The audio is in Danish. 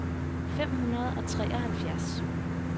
fem hundrede og treoghalvfjerds